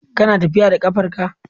Kana tafiya da ƙafar ka.